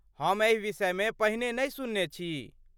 हम एहि विषयमे पहिने नहि सुनने छी।